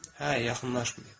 Hə, yaxınlaşmayıb.